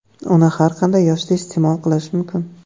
Uni har qanday yoshda iste’mol qilish mumkin.